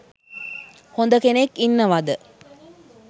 හොඳ කෙනෙක් ඉන්නවද?